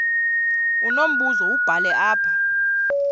unombuzo wubhale apha